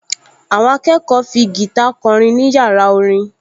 Àwọn akẹ́kọ̀ọ fi gìtá kọrin ní yàrá orin